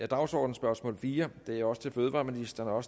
dagsordenens spørgsmål fire er også til fødevareministeren